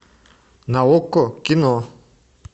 на окко кино